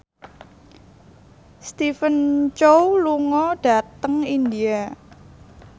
Stephen Chow lunga dhateng India